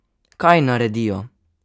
Kaj naredijo?